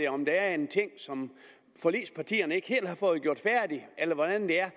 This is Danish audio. om der er en ting som forligspartierne ikke helt har fået gjort færdig eller hvordan det er